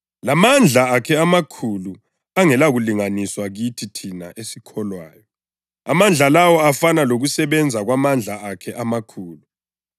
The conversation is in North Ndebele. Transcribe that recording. Ngikhulekela njalo lokuthi amehlo ezinhliziyo zenu akhanyiselwe ukuze lilazi ithemba alibizela kulo, inotho yelifa lakhe elimangalisayo kwabangcwele,